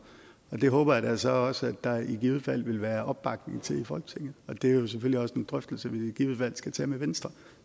det håber jeg da så også at der i givet fald vil være opbakning til i folketinget det er jo selvfølgelig også en drøftelse vi i givet fald skal tage med venstre